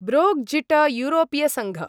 ब्रोग्जिटयूरोपीयसङ्घ